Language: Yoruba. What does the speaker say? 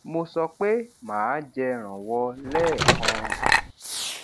mo sọ pé màá jẹ rànwọ lẹẹkan